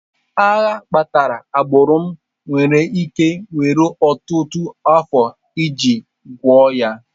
Agha kpatara agbụrụ m nwere ike were ọtụtụ afọ iji gwọọ ya.